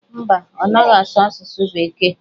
Mba, ọ naghị asụ asụsụ bekee.